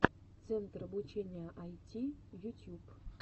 центр обучения айти ютьюб